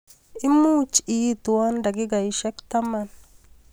Imuch iitwa dakikaishek taman.